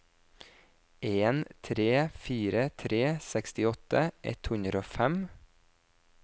en tre fire tre sekstiåtte ett hundre og fem